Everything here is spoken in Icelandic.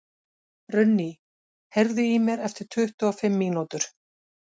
Runný, heyrðu í mér eftir tuttugu og fimm mínútur.